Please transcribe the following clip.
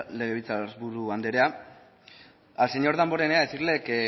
legebiltzarburu andrea al señor damborenea decirle que